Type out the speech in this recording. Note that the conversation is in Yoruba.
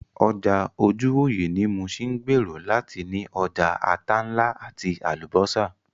Ọjà ojúwòyẹ̀ ní Muṣin ń gbèrò láti ní ọjà ata ńlá àti Àlùbọ́sà